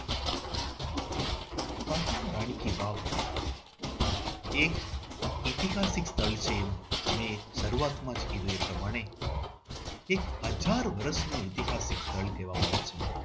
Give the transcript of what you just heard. પાટણના રાણી કી વાવ એક ઐતિહાસિક સ્થળ છે એવું મેં શરૂઆત માં જ કીધું તમને મને એક હજાર વર્ષ પહેલાનું ઐતિહાસિક સ્થળ કહેવામાં આવે છે.